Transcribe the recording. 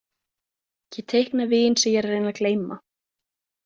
Ég teikna vin sem ég er að reyna að gleyma.